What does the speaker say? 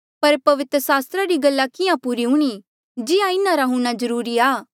पर पवित्र सास्त्रा री गल्ला किहाँ पूरी हूणीं जिहां इन्हारा हूंणां जरूरी आ